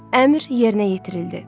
Əmr yerinə yetirildi.